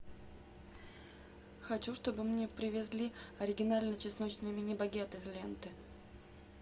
хочу чтобы мне привезли оригинальный чесночный мини багет из ленты